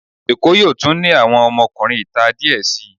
Èkó yóò tún ní àwọn ọmọkunrin ìta díẹ̀ sii.